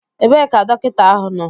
Ebee ka dọkịta ahu nọ?